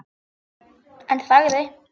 En þagði.